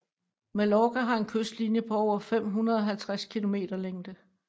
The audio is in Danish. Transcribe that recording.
Mallorca har en kystlinje på over 550 km længde